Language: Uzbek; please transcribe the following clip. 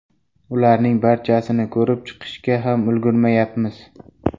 Ularning barchasini ko‘rib chiqishga ham ulgurmayapmiz.